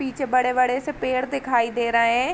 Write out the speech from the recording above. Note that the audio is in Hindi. पीछे बड़े-बड़े से पेड़ दिखाई दे रए एं ।